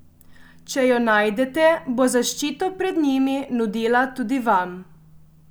Če jo najdete, bo zaščito pred njimi nudila tudi vam.